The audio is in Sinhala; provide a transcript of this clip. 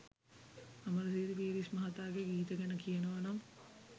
අමරසිරි පීරිස් මහතාගේ ගීත ගැන කියනවානම්